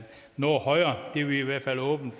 noget højere det er vi i hvert fald åbne